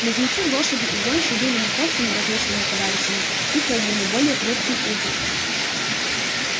близнецы лошади и гончие были не просто неразлучными товарищами их роднили более крепкие узы